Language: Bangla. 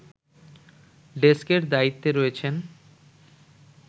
ডেস্কের দায়িত্বে রয়েছেন